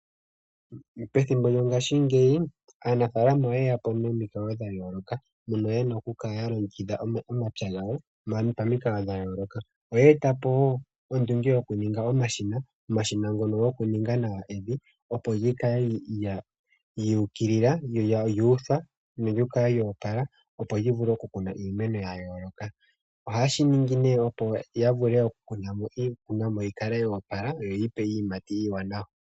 Pethimbo lyongaashingeyi, aanafaalama oye ya po nomikalo dha yooloka, mono ye na okukala ya longekidha omapya gawo pamikalo dha yooloka. Oye eta po wo ondunge yokuninga omashina. Omashina ngono gokuninga nawa evi, opo lyi kale lyu ukilila nolyu utha nolyi kale lyo opala, opo li vule okukunwa iimeno ya yooloka. Ohaye shi ningi nee, opo ya vule okukuna mo iikunomwa yo opala yo yi ya pe iiyimati iiwanawa.